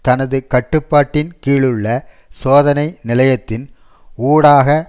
தனது கட்டுப்பாட்டின் கீழுள்ள சோதனை நிலையத்தின் ஊடாக